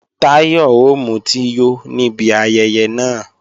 Táyọ̀ ó mutí yó níbi ayẹyẹ náà